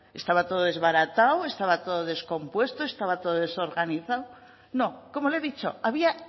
estaba todo desbaratado estaba todo descompuesto estaba todo desorganizado no como le he dicho había